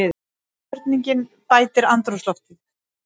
Spurningin bætir andrúmsloftið.